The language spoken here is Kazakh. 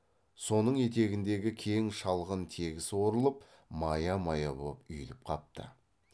соның етегіндегі кең шалғын тегіс орылып мая мая боп үйіліп қапты